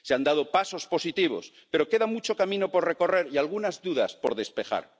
Se han dado pasos positivos, pero queda mucho camino por recorrer y algunas dudas por despejar.